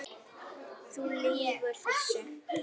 Þú lýgur þessu!